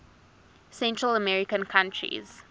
central american countries